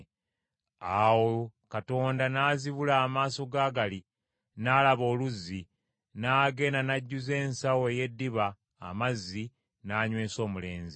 Awo Katonda n’azibula amaaso g’Agali, n’alaba oluzzi, n’agenda n’ajjuza ensawo ey’eddiba amazzi, n’anywesa omulenzi.